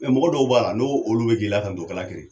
Mɛ mɔgɔ dɔw b'a la n'o olu be k'i latanto ka lakeri